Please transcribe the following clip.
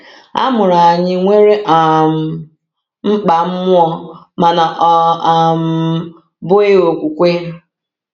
A mụrụ anyị nwere um mkpa mmụọ mana ọ um bụghị okwukwe.